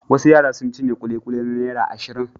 Wasu yara sun cinye ƙuliƙuli na naira ashirin.